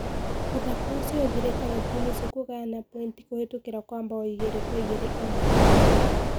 Muthako ũcio uthirite na timu icio kũgayana pointi kuhitukira kwa mabao igĩrĩ kwa igĩrĩ o mwena.